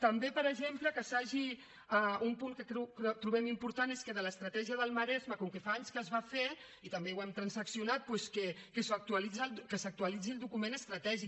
també per exemple un punt que trobem important és que de l’estratègia del maresme com que fa anys que es va fer i també ho hem transaccionat doncs que s’actualitzi el document estratègic